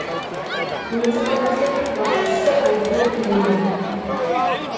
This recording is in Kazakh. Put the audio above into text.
муниципалитеттің басшысы альфред леман